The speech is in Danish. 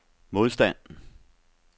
modstand